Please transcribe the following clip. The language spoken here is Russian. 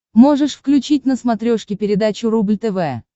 можешь включить на смотрешке передачу рубль тв